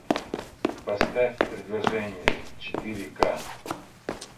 поставь предложение четыре к